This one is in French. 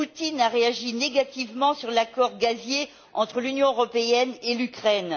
Poutine a réagi négativement à l'accord gazier entre l'Union européenne et l'Ukraine.